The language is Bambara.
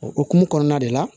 O hokumu kɔnɔna de la